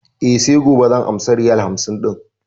E, sai gobe zan amsa riyal hamsin ɗin.